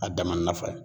A dama nafa ye